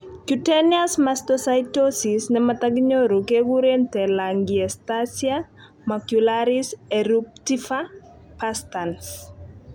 cutaneous mastocytosis nemotokinyoru keguren telangiectasia macularis eruptiva perstans